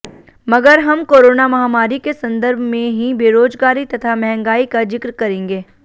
मगर हम कोरोना महामारी के संदर्भ में ही बेरोजगारी तथा महंगाई का जिक्र करेंगे